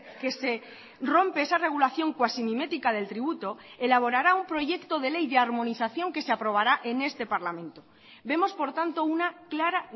que se rompe esa regulación cuasi mimética del tributo elaborará un proyecto de ley de armonización que se aprobará en este parlamento vemos por tanto una clara